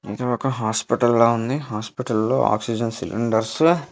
అదొక హాస్పిటల్‌లా ఉంది హాస్పిటల్‌లో ఆక్సిజన్ సిలిండర్స్--